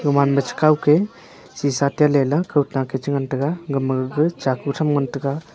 gama ma chi kaw ke sisha tailey la kawtak a chi ngan tega gama gaga chku tham ngan tega.